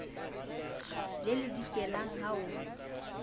le le dikelang ha o